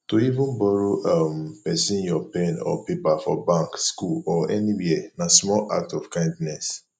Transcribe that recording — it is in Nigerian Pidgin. to even borrow um persin your pen or paper for bank school or anywhere na small act of kindness